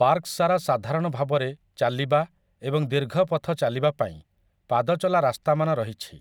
park ସାରା ସାଧାରଣ ଭାବରେ ଚାଲିବା ଏବଂ ଦୀର୍ଘ ପଥ ଚାଲିବା ପାଇଁ ପାଦଚଲା ରାସ୍ତାମାନ ରହିଛି,